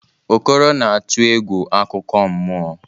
Okoro na-atụ egwu akụkọ mmụọ.